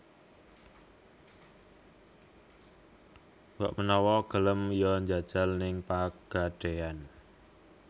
Mbok menawa gelem yo njajal ning Pegadaian